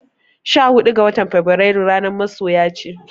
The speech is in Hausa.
Sha hudu ga watan Fabrairu ranar masoya ce.